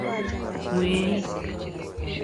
Mweik.